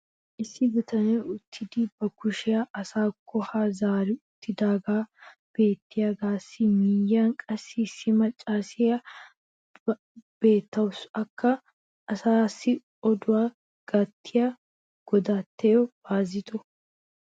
Issi bitanee uttidi ba kushshiya asaakko haa zaari uttidaagee beettiyaagaassi miyiyan qassi issi macaassiyaakka beetawusu. Akka asaassi odduwa gattiyaa godattiyo Baazitto.